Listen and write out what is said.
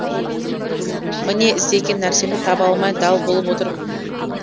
міне іздеген нәрсемді таба алмай дал болып отырмын